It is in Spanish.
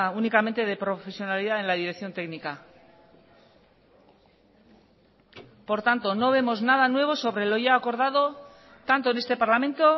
únicamente de profesionalidad en la dirección técnica por tanto no vemos nada nuevo sobre lo ya acordado tanto en este parlamento